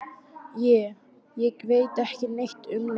Ég. ég veit ekki neitt um neitt.